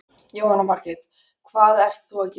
Jóhanna Margrét: Hvað ert þú að gera?